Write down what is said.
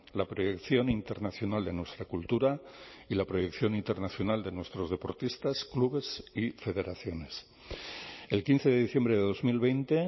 la proyección internacional de nuestra cultura y la proyección internacional de nuestros deportistas clubes y federaciones el quince de diciembre de dos mil veinte